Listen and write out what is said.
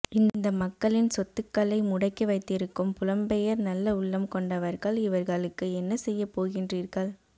இந்த மக்களின் சொத்துக்களை முடக்கி வைத்திருக்கும் புலம்பெயர் நல்ல உள்ளம் கொண்டவர்கள் இவர்களுக்கு என்ன செய்யப்போகின்றீர்கள்